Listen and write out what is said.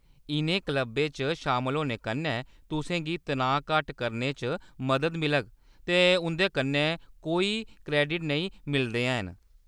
इʼनें क्लबें च शामल होने कन्नै तुसें गी तनाऽ घट्ट करने च मदद मिलग, ते उं'दे कन्नै कोई क्रेडिट नेईं मिलदे हैन।